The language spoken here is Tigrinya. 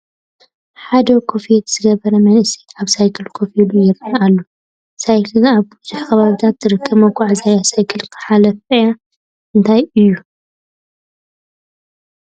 ሓደ ኮፍየት ዝገበረ መንእሰይ ኣብ ሳይክል ኮፍ ኢሉ ይርአ ኣሎ፡፡ ሳይክል ኣብ ብዙሕ ከባቢታት ትርከብ መጓዓዓዚ እያ፡፡ ሳይክል ሓለፍኣ እንታይ እዩ?